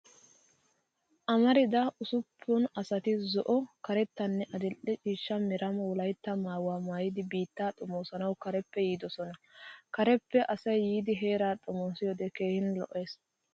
Amarida usuppun asati zo'o, karettanne adil'e ciishsha mera wolayttaa maayuwa maayidi biittaa xomoosanawu kareppe yiidosona. Kareppe asay yiidi heeraa xomoosiyoode keehin lo'es.